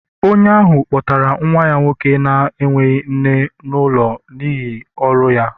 Onye ahụ kpọtara nwa ya nwoke na-enweghị nne n'ụlọ n'ihi ọrụ ya